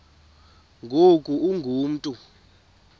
ngoku ungu mntu